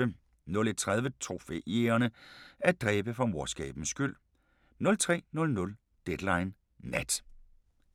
01:30: Trofæjægerne – at dræbe for morskabens skyld 03:00: Deadline Nat